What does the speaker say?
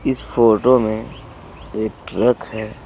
इस फोटो में एक ट्रक है.